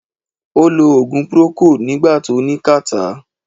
Ó lo ògùn procold nígbà tó ní catarrh